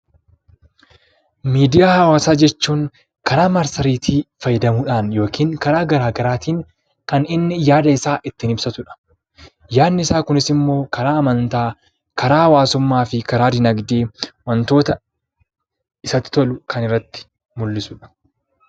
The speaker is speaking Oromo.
Miidiyaa hawaasaa jechuun karaa maastireetii fayyadamuudhaan yookiin karaa garagaraatin kan inni yaada mataa isaa ittiin ibsatudha. Yaanni isaa Kunis immoo karaa amantaa, karaa hawaasummaa fi karaa diinagdee kan mul'isudha.